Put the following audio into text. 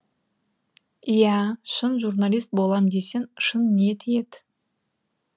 иә шын журналист болам десең шын ниет ет